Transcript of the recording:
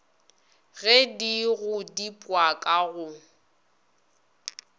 ge di godipwa ka go